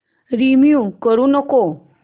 remove करू नको